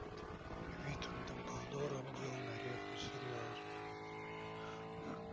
вид у дамблдора был на редкость серьёзный